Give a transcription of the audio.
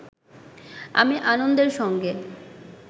আমি আনন্দের সঙ্গে